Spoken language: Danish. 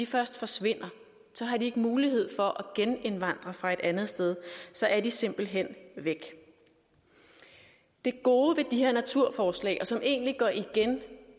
først forsvinder så har de ikke mulighed for at genindvandre fra et andet sted så er de simpelt hen væk det gode ved de her naturforslag og som egentlig går igen